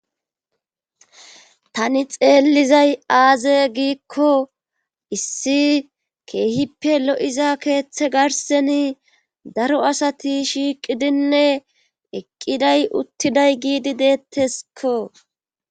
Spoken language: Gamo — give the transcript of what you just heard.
tani xeellizay aaze giikko issi keehippe lo'iza keeththe garseni daro asati shiiqidinne eqqiday uttiday giidi deetteskko